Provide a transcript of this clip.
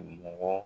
Mɔgɔ